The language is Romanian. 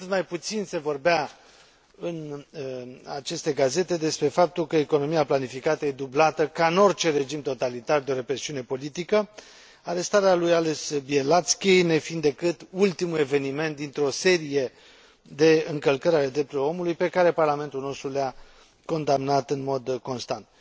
Cu atât mai puțin se vorbea în aceste gazete despre faptul că economia planificată e dublată, ca în orice regim totalitar, de o represiune politică, arestarea lui Ales Beliațki nefiind decât ultimul eveniment dintr o serie de încălcări ale drepturilor omului pe care Parlamentul nostru le a condamnat în mod constant.